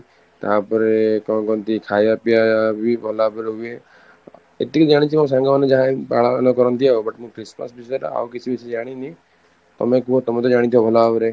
ତାପରେ କ'ଣ କୁହନ୍ତି ଖାଇବା ପିଇବା ବି ଭଲ ଭାବରେ ହୁଏ, ଏତିକି ଜାଣିଛି ମୋ ସାଙ୍ଗମାନେ ଯାହା ବି ପାଳନ କରନ୍ତି ଆଉ, but ମୁଁ Christmas ବିଷୟରେ ଆଉ କିଛି ବେଶୀ ଜାଣିନି, ତମେ କୁହ ତମେ ତ ଜାଣିଥିବ ଭଲ ଭାବରେ